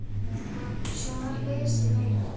Svo var lesið meira.